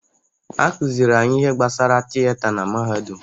Akụziri anyị ihe gbasara tiyeta na-mahadum.